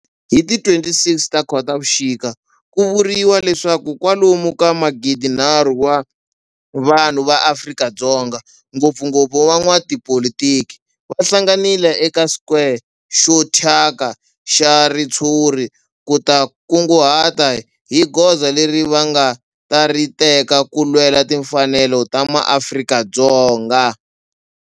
Hi ti 26 Khotavuxika ku vuriwa leswaku kwalomu ka magidi nharhu wa vanhu va Afrika-Dzonga, ngopfungopfu van'watipolitiki va hlanganile eka square xo thyaka xa ritshuri ku ta kunguhata hi goza leri va nga ta ri teka ku lwela timfanelo ta ma Afrika-Dzonga.